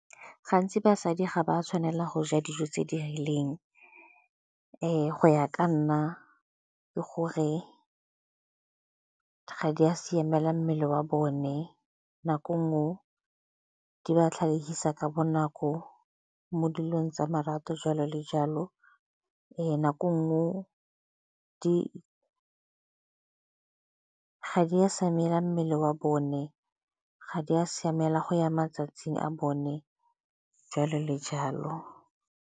Gantsi basadi ga ba tshwanela go ja dijo tse di rileng go ya ka nna ke gore ga di a siamela mmele wa bone, nako nngwe o di ba tlhagisa ka bonako mo dilong tsa marato jalo le jalo. Nako e nngwe ga di a siamela mmele wa bone, ga di a siamela go ya matsatsing a bone, jalo le jalo.